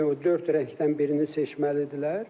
dörd rəngdən birini seçməlidirlər.